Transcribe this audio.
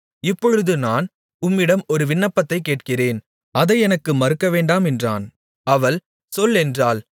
இப்பொழுது நான் உம்மிடம் ஒரு விண்ணப்பத்தைக் கேட்கிறேன் அதை எனக்கு மறுக்கவேண்டாம் என்றான் அவள் சொல் என்றாள்